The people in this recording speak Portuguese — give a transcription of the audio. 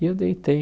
E eu deitei.